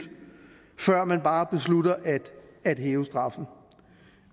før man bare beslutter at hæve straffen